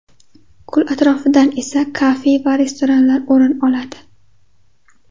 Ko‘l atrofidan esa kafe va restoranlar o‘rin oladi.